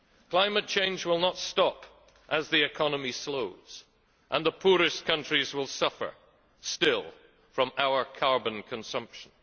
Climate change will not stop as the economy slows, and the poorest countries will suffer still from our carbon consumption.